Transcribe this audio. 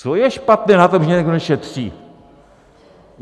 Co je špatné na tom, že někdo nešetří?